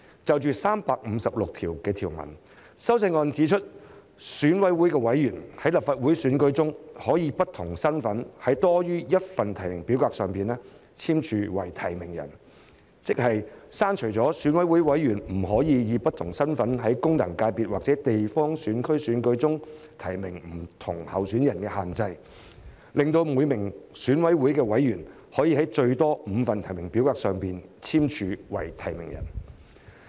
就第356條而言，修正案指明選舉委員會委員在立法會選舉中可以不同身份在多於1份提名表格上簽署為提名人，即是剔除選委不能以不同身份在功能界別或地方選區選舉中提名不同候選人的限制，讓每名選委能在最多5份提名表格上簽署為提名人。